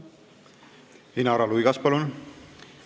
Inara Luigas, palun!